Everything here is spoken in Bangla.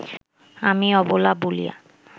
আমি অবলা বলিয়া